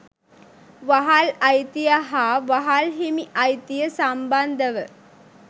වහල් අයිතිය හා වහල් හිමි අයිතිය සම්බන්ධව